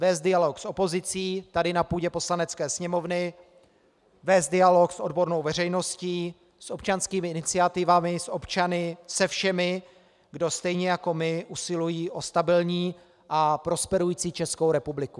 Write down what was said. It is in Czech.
Vést dialog s opozicí tady na půdě Poslanecké sněmovny, vést dialog s odbornou veřejností, s občanskými iniciativami, s občany, se všemi, kdo stejně jako my usilují o stabilní a prosperující Českou republiku.